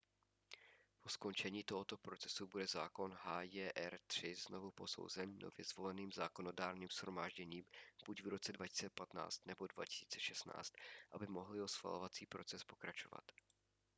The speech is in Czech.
po skončení tohoto procesu bude zákon hjr-3 znovu posouzen nově zvoleným zákonodárným shromážděním buď v roce 2015 nebo 2016 aby mohl jeho schvalovací proces pokračovat